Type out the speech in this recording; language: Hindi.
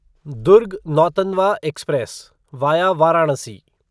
Durg Nautanwa express via Varanasi